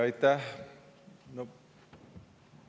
Aitäh!